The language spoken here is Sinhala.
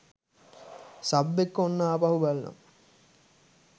සබ් එක්ක ඔන්න ආපහු බලනවා.